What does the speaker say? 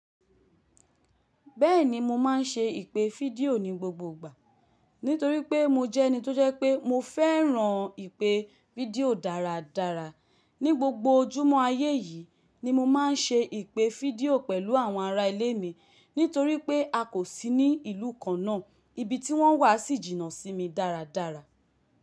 Bẹ́ẹ̀ni mo máa ń ṣe ìpè fídíò ní gbogbo ìgbà, nítorí pé mo jẹ́ ẹni tó jẹ́ pé mo fẹ́ràn ìpè fídíò dáradára. Ní gbogbo ojúmọ́ ayé yìí ni mo máa ń ṣe ìpè fídíò pẹ̀lú àwọn ará ilé mi nítorí pé a kò sí ní ìlú kan náà, ibi tí wọ́n wà sì jìnnà sí mi dáradára.